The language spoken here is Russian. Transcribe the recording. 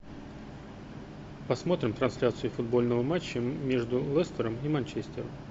посмотрим трансляцию футбольного матча между лестером и манчестером